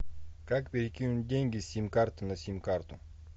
как перекинуть деньги с сим карты на сим карту